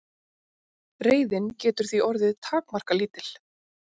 Reiðin getur því orðið takmarkalítil.